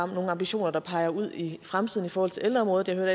nogen ambitioner der peger ud i fremtiden i forhold til ældreområdet